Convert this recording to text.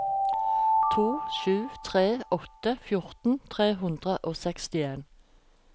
to sju tre åtte fjorten tre hundre og sekstien